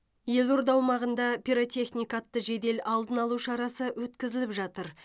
елорда аумағында пиротехника атты жедел алдын алу шарасы өткізіліп жатыр